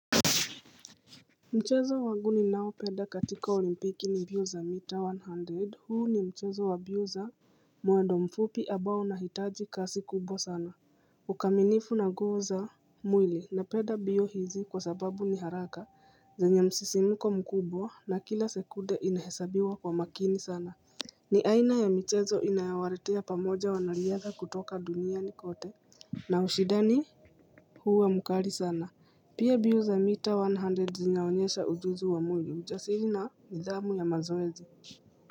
Mchezo wangu ninaoupenda katika olimpiki ni mbio za mita one hundred huu ni mchezo wa mbio za mwendo mfupi ambao unahitaji kasi kubwa sana Ukaminifu na nguvu za mwili napenda mbio hizi kwa sababu ni haraka zenye msisimuko mkubwa na kila sekunde inahesabiwa kwa makini sana ni aina ya michezo inayowaletea pamoja wanariadha kutoka duniani kote na ushindani hua mkali sana Pia mbio za mita one hundred zinaonyesha uzuzu wa moyo ujasiri na nidhamu ya mazoezi.